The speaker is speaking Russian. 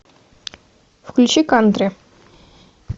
включи кантри